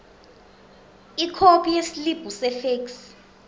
ikhophi yesiliphu sefeksi